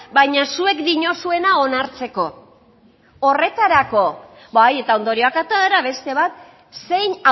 baina zuek diozuena onartzeko horretarako bai eta ondorioak atera beste bat zein